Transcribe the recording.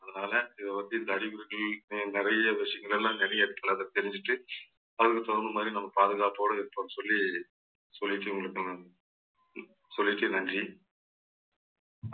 அதனால இதை வந்து இந்த அறிகுறிகள் நிறைய விஷயங்கள் எல்லாம் நிறைய இடத்தில அதை தெரிஞ்சுட்டு அதுக்கு தகுந்த மாறி நம்ம பாதுகாப்போட இருப்போம்ன்னு சொல்லி சொல்லிட்டு உங்களுக்கு நான் சொல்லிட்டு நன்றி